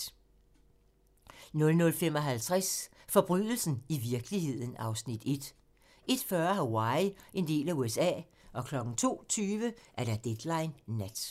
00:55: Forbrydelsen i virkeligheden (Afs. 1) 01:40: Hawaii - en del af USA 02:20: Deadline Nat (tir)